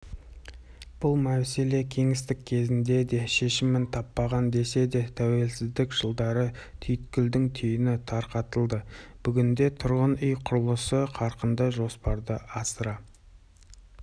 бұл мәселе кеңестік кезеңде де шешімін таппаған десе де тәуелсіздік жылдары түйткілдің түйіні тарқатылды бүгінде тұрғын үй құрылысы қарқынды жоспарды асыра